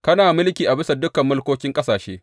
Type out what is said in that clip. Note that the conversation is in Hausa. Kana mulki a bisa dukan mulkokin ƙasashe.